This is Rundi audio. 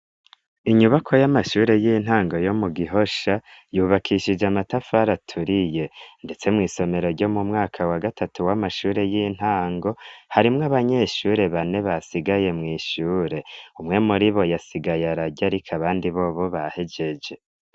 Inyubako y'amashure y'intango yo mu Gihosha, yubakishije amatafari aturiye, ndetse mw'isomero ryo mu mwaka wa gatatu w'amashure y'intango harimwo abanyeshure bane basigaye mw'ishure, umwe muri bo yasigaye ararya ariko abandi bobo bahejeje.